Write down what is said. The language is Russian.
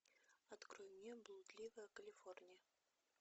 открой мне блудливая калифорния